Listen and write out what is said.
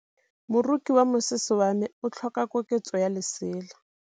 Moroki wa mosese wa me o tlhoka koketsô ya lesela.